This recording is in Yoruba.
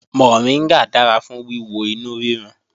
Mọ̀ríngà dára fún wíwo inú rírun